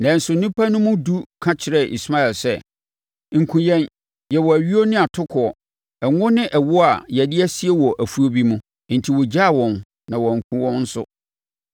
Nanso nnipa no mu edu ka kyerɛɛ Ismael sɛ, “Nkum yɛn! Yɛwɔ ayuo ne atokoɔ, ngo ne ɛwoɔ a yɛde asie wɔ afuo bi mu.” Enti ɔgyaa wɔn na wankum wɔn nso.